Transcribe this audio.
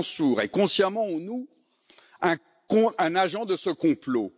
Mansour est, consciemment ou non, un agent de ce complot.